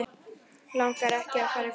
Langar ekki fram í stofu.